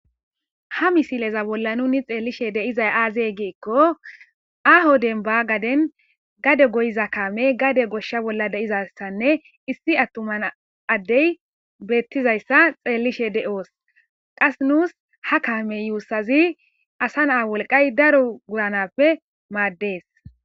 ha misileza bolla nunni xeellishe deizay aazey giikko aho denba gaden gade goyiza kaamey gade goshsha bolla de7izaysanne issi attuman addey beettizayssa xeellishe de7oos qas nuus ha kaamey yuussazi asa naa wolqay daro wuranappe maaddees